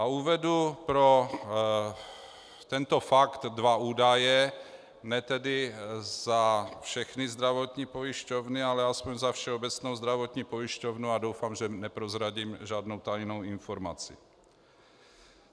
A uvedu pro tento fakt dva údaje, ne tedy za všechny zdravotní pojišťovny, ale aspoň za Všeobecnou zdravotní pojišťovnu, a doufám, že neprozradím žádnou tajnou informaci.